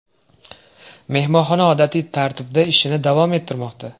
Mehmonxona odatiy tartibda ishini davom ettirmoqda.